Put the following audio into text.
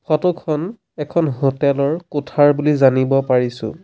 Photo খন এখন hotel ৰ কোঠাৰ বুলি জানিব পাৰিছোঁ।